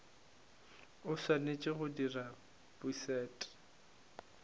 o swanetše go di bušet